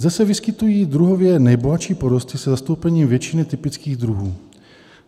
Zde se vyskytují druhově nejbohatší porosty se zastoupením většiny typických druhů.